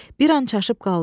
Bir an çaşıb qaldı.